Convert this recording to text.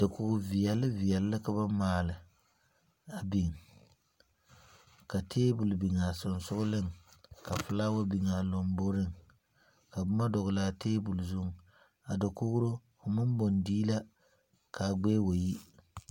Dakoge viɛle viɛle la ka ba maale a biŋ. Ka tabul biŋ a susugleŋ. Ka fulawa biŋ a lombɔreŋ. Ka boma dogle a tabul zu. A dakogro fo maŋ baŋ dii la ka a gbɛɛ wa yi